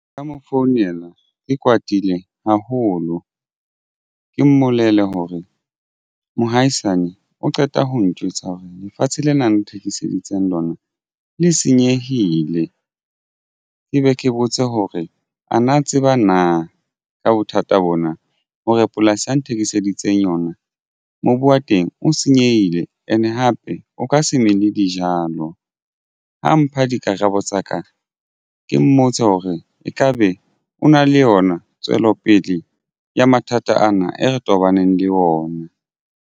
Nka mo founela ke kwatile haholo ke mmolelle hore mohaisane o qeta ho njwetsa hore lefatshe lena nthekiseditseng lona le senyehile. Ke be ke botse hore a na tseba na ka bothata bona hore polasi ya nthekiseditse yona mobu wa teng o senyehile and hape o ka se mele dijalo ho mpha dikarabo tsa ka ke mmotse hore ekabe o na le yona tswelopele ya mathata ana e re tobaneng le ona.